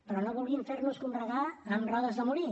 però no vulguin fer nos combregar amb rodes de molí